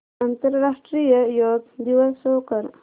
आंतरराष्ट्रीय योग दिवस शो कर